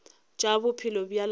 tša bophelo bja lapa la